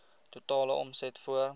totale omset voor